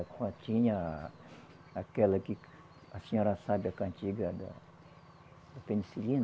Quando tinha aquela que a senhora sabe, a cantiga da penicilina.